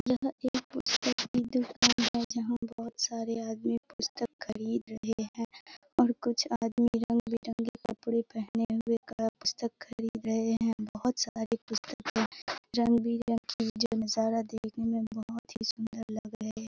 यह एक पुस्तक की दुकान है जहाँ बहुत सारे आदमी पुस्तक खरीद रहे हैं और कुछ आदमी रंग-बिरंगे कपड़े पहने हुए पुस्तक खरीद रहे हैं बहुत सारी पुस्तके रंग बिरंगी जो नज़ारा देखने में बहुत ही सुंदर लग रहे।